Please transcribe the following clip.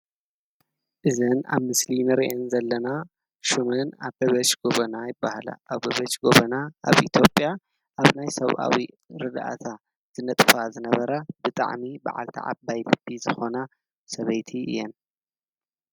እዚአን ኣብ ምስሊ ንርአን ዘለና ሽመን ኣበበች ጎበና ይበሃላ ኣበበች ጎበና ኣብ ኢትዮጲያ ኣብ ናይ ሰብኣዊ ርዳእታ ዝነጥፋ ዝነበራ ብጣዕሚ በዓልቲ ዓባይ ልቢ ዝኾና ሰበይቲ እየን ።